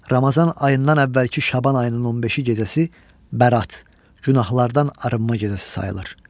Ramazan ayından əvvəlki Şaban ayının 15-ci gecəsi Bərat, günahlardan arınma gecəsi sayılır.